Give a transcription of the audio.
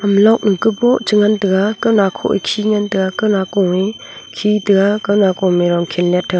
ham log nu boh che ngan taiga kawna kho e khe ngan tega kawna ko e khe tega kaw nako me a dong khe let tega.